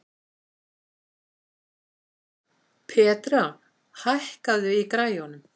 Petrea, hækkaðu í græjunum.